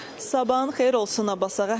Sabahın xeyir olsun Abbasağa.